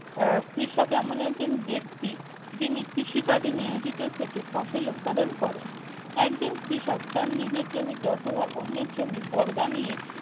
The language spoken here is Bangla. আহ কৃষক এমন একজন ব্যক্তি যিনি কৃষি কাজে নিয়োজিত থেকে ফসল উৎপাদন করে। একজন কৃষক তার নিজের জমিতে অথবা অন্যের জমি বর্গা নিয়ে